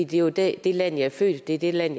det er jo det det land jeg er født i det er det land